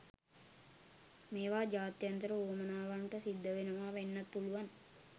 මේවා ජාත්‍යන්තර වුවමනාවන්ට සිද්ධවෙනවා වෙන්නත් පුළුවන්.